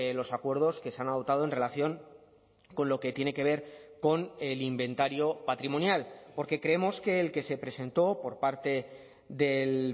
los acuerdos que se han adoptado en relación con lo que tiene que ver con el inventario patrimonial porque creemos que el que se presentó por parte del